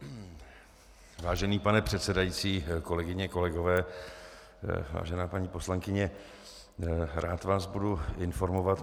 Vážený pane předsedající, kolegyně, kolegové, vážená paní poslankyně, rád vás budu informovat.